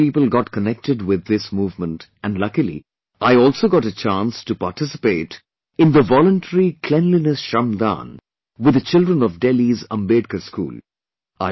Crores of people got connected with this movement and luckily I also got a chance to participate in the voluntary cleanliness shramdaan with the children of Delhi's Ambedkar School